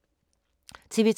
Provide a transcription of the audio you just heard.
TV 2